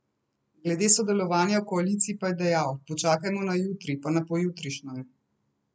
Glede sodelovanja v koaliciji pa je dejal: "Počakajmo na jutri, pa na pojutrišnjem.